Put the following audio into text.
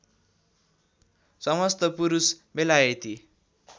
समस्त पुरुष बेलायती